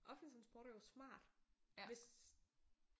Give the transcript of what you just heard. Offentlig transport er jo smart hvis